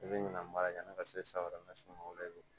I bɛ ɲina mara yanni ka se saa wɛrɛ ma sini ma i b'o